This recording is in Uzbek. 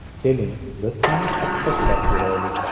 Keling, biz ham taqqoslab ko‘raylik!